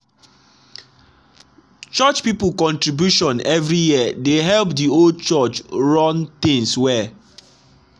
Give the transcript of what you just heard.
church people contribution every year dey help the old church run things well.